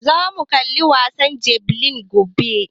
Za mu kalla wasan jabelin gobe